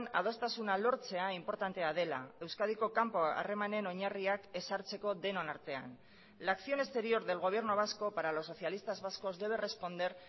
adostasuna lortzea inportantea dela euskadiko kanpo harremanen oinarriak ezartzeko denon artean la acción exterior del gobierno vasco para los socialistas vascos debe responder